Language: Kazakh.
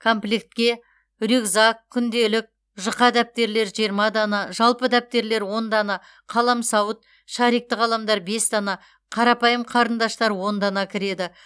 комплектке рюкзак күнделік жұқа дәптерлер жиырма дана жалпы дәптерлер он дана қаламсауыт шарикті қаламдар бес дана қарапайым қарындаштар он дана кіреді